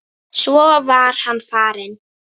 Svo var hann farinn.